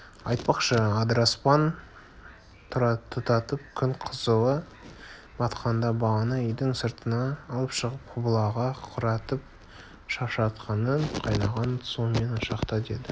айтпақшы адыраспан тұтатып күн қызылы батқанда баланы үйдің сыртына алып шығып құбылаға қаратып шашыратқының қайнаған суымен ұшықта деді